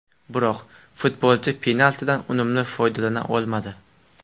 Biroq futbolchi penaltidan unumli foydalana olmadi.